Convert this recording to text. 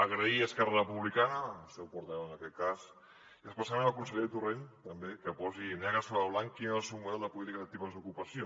agrair a esquerra republicana al seu portaveu en aquest cas i especialment al conseller torrent també que posin negre sobre blanc quin és el seu model de polítiques actives d’ocupació